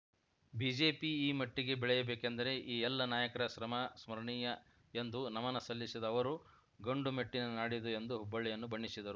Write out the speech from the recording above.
BJP ಈ ಮಟ್ಟಿಗೆ ಬೆಳೆಯಬೇಕೆಂದರೆ ಈ ಎಲ್ಲ ನಾಯಕರ ಶ್ರಮ ಸ್ಮರಣೀಯ ಎಂದು ನಮನ ಸಲ್ಲಿಸಿದ ಅವರು ಗಂಡು ಮೆಟ್ಟಿನ ನಾಡಿದು ಎಂದು ಹುಬ್ಬಳ್ಳಿಯನ್ನು ಬಣ್ಣಿಸಿದರು